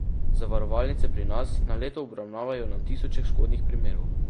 Zavarovalnice pri nas na leto obravnavajo na tisoče škodnih primerov.